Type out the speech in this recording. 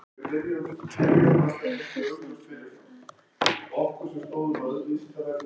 Magnús Hlynur Hreiðarsson: Þannig að þið eruð að ryðja brautina?